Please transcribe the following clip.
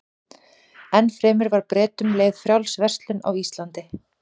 Enn fremur var Bretum leyfð frjáls verslun á Íslandi.